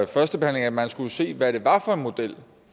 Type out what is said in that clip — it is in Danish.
førstebehandlingen at man skulle se hvad det var for en model